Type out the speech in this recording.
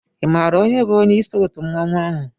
I mààra onye bu onyé isi òtú mmanwu áhù?